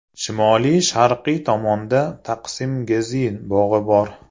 Shimoli-sharqiy tomonda Taqsim-Gezi bog‘i bor.